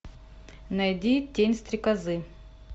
найди тень стрекозы